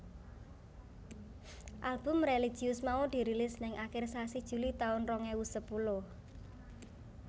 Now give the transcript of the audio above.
Album religius mau dirilis ning akir sasi Juli taun rong ewu sepuluh